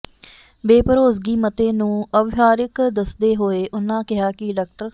ਬੇਭਰੋਸਗੀ ਮਤੇ ਨੂੰ ਅਵਿਵਹਾਰਕ ਦੱਸਦੇ ਹੋਏ ਉਨ੍ਹਾਂ ਕਿਹਾ ਕਿ ਡਾ